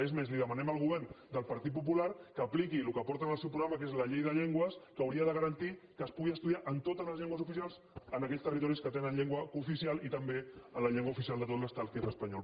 és més li demanem al govern del partit popular que apliqui el que porta en el seu programa que és la llei de llengües que hauria de garantir que es pugui estudiar en totes les llengües oficials en aquells territoris que tenen llengua cooficial i també en la llengua oficial de tot l’estat que és l’espanyol